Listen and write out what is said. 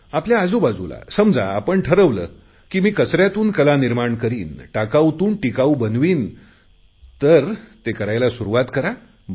आपल्या आजूबाजूला समजा आपण ठरवले की मी कचऱ्यातून कला निर्माण करीन टाकाऊतून टिकाऊ बनवीन तर ते करायला सुरुवात करा